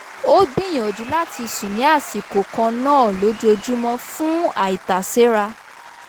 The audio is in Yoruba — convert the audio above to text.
ó gbìyànjú láti sùn ní àṣikò kan náà lójoójúmọ́ fún àìtàséra